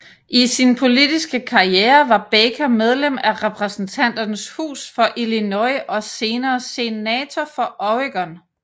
I sin politiske karriere var Baker medlem af Repræsentanternes Hus for Illinois og senere Senator for Oregon